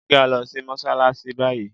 Jẹ ki a lọ si Mossalassi bayi!